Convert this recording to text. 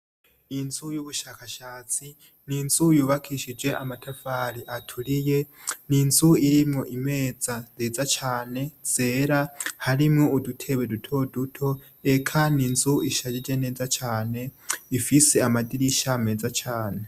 Inzu y'ubushakashatsi ni inzu yubakishije amatavari aturiye ni inzu irimwo imeza nzeza cane zera harimwo udutewe dutoduto eka ni inzu ishajije neza cane ifise amadirisha ameza cane.